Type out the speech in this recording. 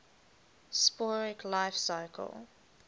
'sporic life cycle